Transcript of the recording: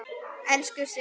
Elsku Sigga.